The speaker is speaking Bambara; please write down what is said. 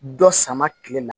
Dɔ sama kile ma